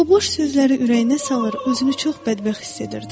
O boş sözləri ürəyinə salır, özünü çox bədbəxt hiss edirdi.